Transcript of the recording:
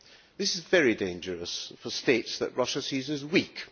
This is very dangerous for states that Russia sees as weak.